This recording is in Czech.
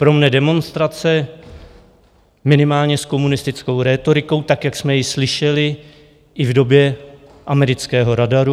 Pro mne demonstrace minimálně s komunistickou rétorikou, tak jak jsme ji slyšeli i v době amerického radaru.